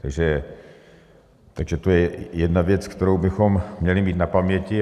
Takže to je jedna věc, kterou bychom měli mít na paměti.